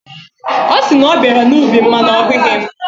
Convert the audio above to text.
Ọ sị na ọ bịara n'ubi m mana ọ hụghị mụ.